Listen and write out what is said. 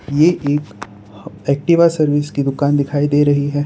ये एक Activa service की दुकान दिखाई दे रही है।